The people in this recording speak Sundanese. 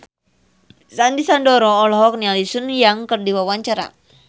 Sandy Sandoro olohok ningali Sun Yang keur diwawancara